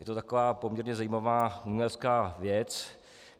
Je to taková poměrně zajímavá umělecká věc.